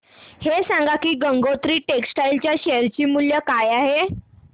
हे सांगा की गंगोत्री टेक्स्टाइल च्या शेअर चे मूल्य काय आहे